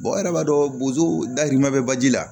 yɛrɛ b'a dɔn boso dahirimɛ bɛ baji la